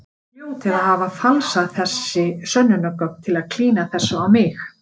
Þið hljótið að hafa falsað þessi sönnunargögn til að klína þessu á mig.